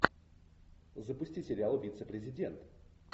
запусти сериал вице президент